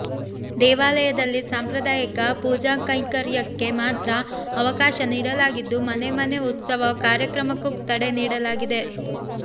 ದೇವಾಲಯದಲ್ಲಿ ಸಾಂಪ್ರದಾಯಕ ಪೂಜಾಕೈಂಕರ್ಯಕ್ಕೆ ಮಾತ್ರ ಅವಕಾಶ ನೀಡಲಾಗಿದ್ದು ಮನೆ ಮನೆ ಉತ್ಸವ ಕಾರ್ಯಕ್ರಮಕ್ಕೂ ತಡೆ ನೀಡಲಾಗಿದೆ